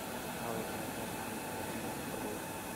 aaway kina diamond platnumz guriga